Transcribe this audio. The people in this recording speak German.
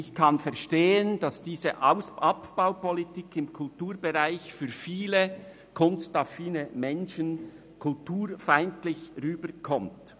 Ich kann verstehen, dass diese Abbaupolitik im Kulturbereich vielen kunstaffinen Menschen als kulturfeindlich erscheint.